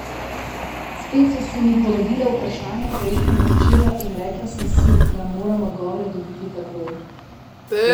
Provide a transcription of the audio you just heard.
Spet so se mi porodila vprašanja prejšnjega večera in rekla sem si, da moram odgovore dobiti takoj.